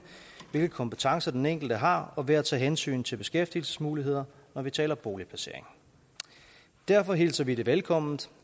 hvilke kompetencer den enkelte har og ved at tage hensyn til beskæftigelsesmuligheder når vi taler boligplacering derfor hilser vi det velkommen